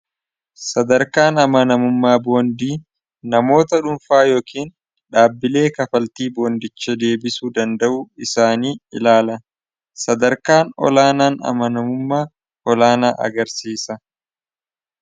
sadarkaan amanamummaa boondii namoota dhuunfaa yookiin dhaabbilee kafaltii boondicha deebisu danda'u isaanii ilaala sadarkaan olaanaan amanamummaa olaanaa agarsiisa